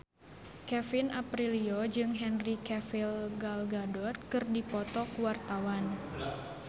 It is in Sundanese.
Kevin Aprilio jeung Henry Cavill Gal Gadot keur dipoto ku wartawan